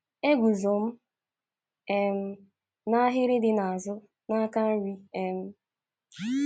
Eguzo m um n’ahịrị dị n’azụ, n’aka nri. um